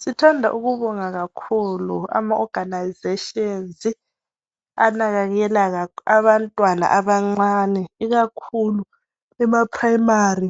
Sithanda ukubonga kakhulu amaorganisations anakekela abantwana abancane ikakhulu emaprimary